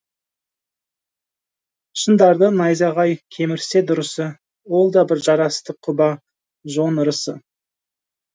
шыңдарды найзағай кемірсе дұрысы ол да бір жарасты құба жон ырысы